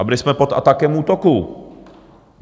A byli jsme pod atakem útoku.